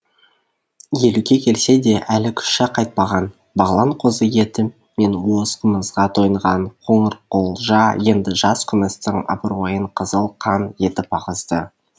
елуге келсе де әлі күші қайтпаған бағлан қозы еті мен уыз қымызға тойынған қоңырқұлжа енді жас күмістің абыройын қызыл қан етіп ағызды